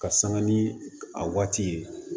Ka sanga ni a waati ye